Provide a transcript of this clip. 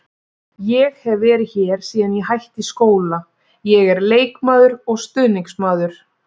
Ég hef verið hér síðan ég hætti í skóla, ég er leikmaður og stuðningsmaður.